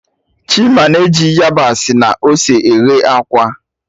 Chima na eji yabasị na ose eghe akwa